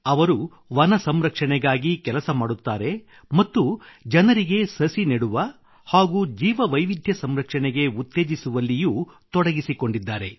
ಅವರು ವನ ಸಂರಕ್ಷಣೆಗಾಗಿ ಕೆಲಸ ಮಾಡುತ್ತಾರೆ ಮತ್ತು ಜನರಿಗೆ ಸಸಿ ನೆಡುವ ಹಾಗೂ ಜೀವವೈವಿಧ್ಯ ಸಂರಕ್ಷಣೆಗೆ ಉತ್ತೇಜಿಸುವಲ್ಲಿಯೂ ತೊಡಗಿಸಿಕೊಂಡಿದ್ದಾರೆ